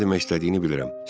Nə demək istədiyini bilirəm.